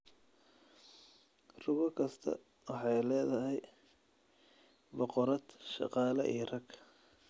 Rugo kastaa waxay leedahay boqorad, shaqaale, iyo rag.